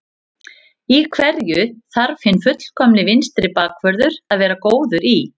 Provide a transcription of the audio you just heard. Í hverju þarf hinn fullkomni vinstri bakvörður að vera góður í?